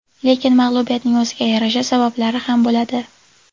Lekin mag‘lubiyatning o‘ziga yarasha sabablari ham bo‘ladi.